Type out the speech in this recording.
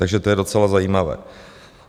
Takže to je docela zajímavé.